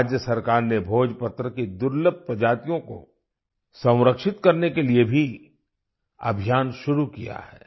राज्य सरकार ने भोजपत्र की दुर्लभ प्रजातियों को संरक्षित करने के लिए भी अभियान शुरू किया है